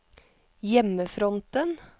hjemmefronten